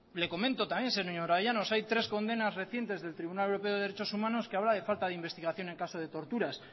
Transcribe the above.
le comento también señora llanos hay tres condenas recientes del tribunal europeo de derechos humanos que habla de falta de investigación en caso de torturas